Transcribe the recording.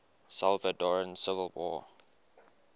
salvadoran civil war